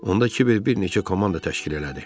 Onda Kiber bir neçə komanda təşkil elədi.